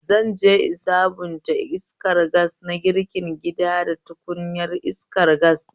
Zanje in sabunta iskar gas na girkin gida da tukunyar iskar gas ɗin